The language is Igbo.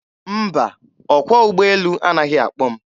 Mba, ọkwọ ụgbọelu anaghị akpọ m.